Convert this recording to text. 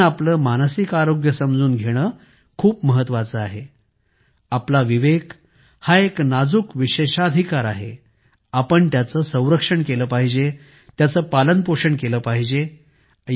आपण आपले मानसिक आरोग्य समजून घेणे खूप महत्वाचे आहे आपला विवेक हा एक नाजूक विशेषाधिकार आहे आपण त्याचे संरक्षण केले पाहिजे त्याचे पालनपोषण केले पाहिजे